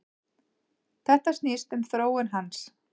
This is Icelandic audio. Þetta snýst um þróun hans.